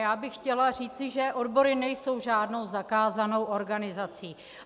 Já bych chtěla říci, že odbory nejsou žádnou zakázanou organizací.